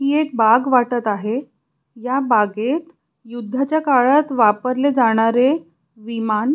ही एक बाग वाटत आहे या बागेत युद्धाच्या काळात वापरले जाणारे विमान--